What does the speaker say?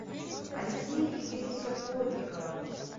алексея игоревича плотникова